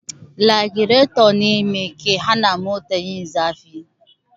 Lagireto ne me ke hana mota yin zafi